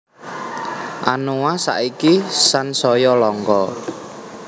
Anoa saiki sansaya langka